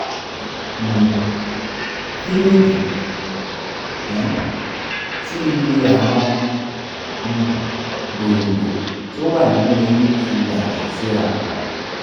um kí nìdí um tí iye àwọn um gbòǹgbò tó wà nínú eyín fi yàtọ̀ síra?